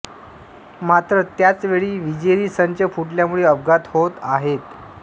मात्र त्याच वेळी विजेरी संच फुटल्यामुळे अपघात होत आहेत